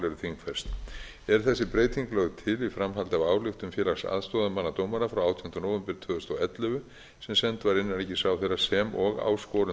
þingfest er þessi breyting nú lögð til í framhaldi af ályktun félags löglærðra aðstoðarmanna dómara frá átjándu nóvember tvö þúsund og ellefu sem send var innanríkisráðherra sem og áskorun